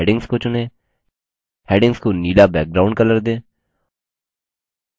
सभी हैडिंग्स को चुनें हैडिंग्स को नीलाब्लू बैकग्राउंड कलर दें